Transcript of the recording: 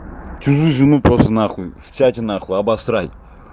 чужую жену просто нахуй в чате нахуй обосрать